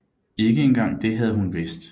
Ikke engang det havde hun vidst